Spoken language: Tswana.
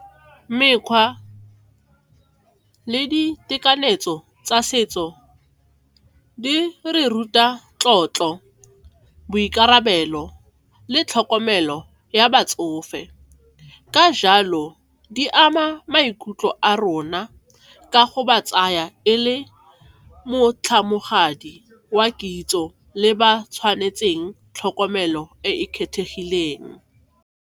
Mekgwa le ditekanyetso tsa setso di re ruta tlotlo, boikarabelo le tlhokomelo ya batsofe ka jalo di ama maikutlo a rona ka go ba tsaya e le wa kitso le ba tshwanetseng tlhokomelo e e kgethegileng.